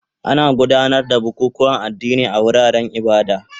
Ana gudanar da bukukuwan addini a wuraren ibada